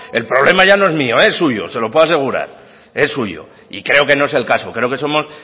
el problema ya no es mío es suyo se lo puedo asegurar es suyo y creo que no es el caso creo que somos